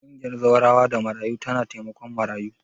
Ƙungiyar Zawarawa da Marayu tana taimakon marayu.